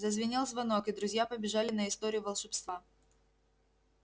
зазвенел звонок и друзья побежали на историю волшебства